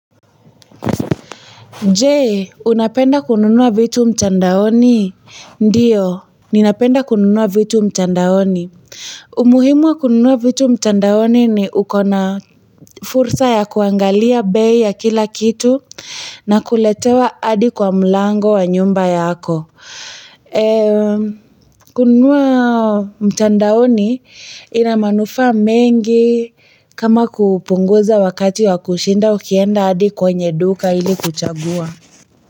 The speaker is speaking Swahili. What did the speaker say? Je unapenda kununua vitu mtandaoni ndiyo ninapenda kununua vitu mtandaoni umuhimwa kununua vitu mtandaoni ni uko na fursa ya kuangalia bei ya kila kitu na kuletewa adi kwa mlango wa nyumba yako eee kununua mtandaoni ina manufaa mengi kama kupunguza wakati wa kushinda ukienda hadi kwenye duka ili kuchagua.